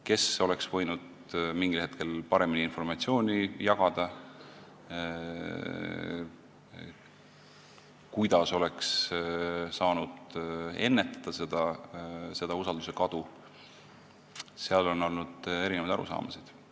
Kes oleks võinud mingil hetkel paremini informatsiooni jagada, kuidas oleks saanud seda usalduse kadu ennetada, sellest on olnud erinevaid arusaamasid.